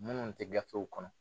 Minnu te gafew kɔnɔ